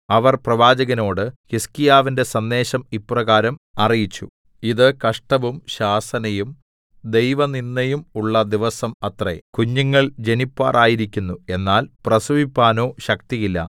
അവർ പ്രവാചകനോട് ഹിസ്കീയാവിന്റെ സന്ദേശം ഇപ്രകാരം അറിയിച്ചു ഇത് കഷ്ടവും ശാസനയും ദൈവനിന്ദയും ഉള്ള ദിവസം അത്രേ കുഞ്ഞുങ്ങൾ ജനിപ്പാറായിരിക്കുന്നു എന്നാൽ പ്രസവിപ്പാനോ ശക്തിയില്ല